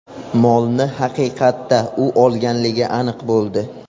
Molni haqiqatda u olganligi aniq bo‘ldi.